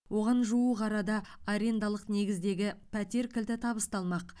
оған жуық арада арендалық негіздегі пәтер кілті табысталмақ